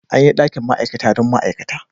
An yi dakin ma'aikata dan ma'aikata.